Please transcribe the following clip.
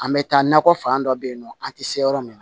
An bɛ taa nakɔ fan dɔ bɛ yen nɔ an tɛ se yɔrɔ min na